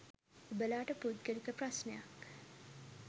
ඔබලාට පුදගලික ප්‍රස්නයක්